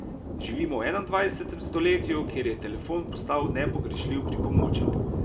Živimo v enaindvajsetem stoletju, kjer je telefon postal nepogrešljiv pripomoček.